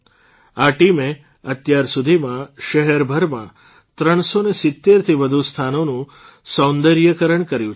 આ ટીમે અત્યારસુધીમાં શહેરભરના ૩૭૦થી વધુ સ્થાનોનું સૌંદર્યીકરણ કર્યું છે